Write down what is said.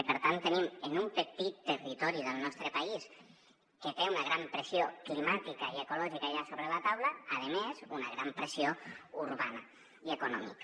i per tant tenim en un petit territori del nostre país que té una gran pressió climàtica i ecològica ja sobre la taula a més una gran pressió urbana i econòmica